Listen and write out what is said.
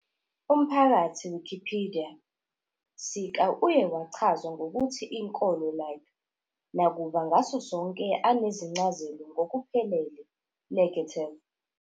Umphakathi Wikipedia sika uye wachazwa ngokuthi inkolo-like, nakuba ngaso sonke anezincazelo ngokuphelele negative.